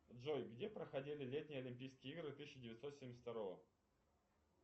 джой где проходили летние олимпийские игры тысяча девятьсот семьдесят второго